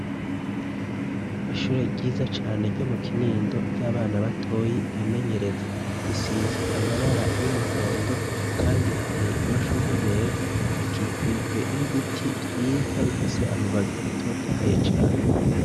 Ishure ryiza cane ryo mu kinindo ry'abana batoyi bimenyereza risize amabara y'umuhondo, kandi hateye amashurwe meza rikikujwe n'ibiti vyiza bifise amababi atotahaye cane.